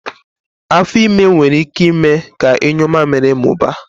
Afo ime nwere ike ime ka inyu mmamịrị mụbaa